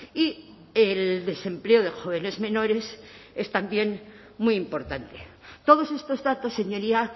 y el desempleo de jóvenes menores es también muy importante todos estos datos señoría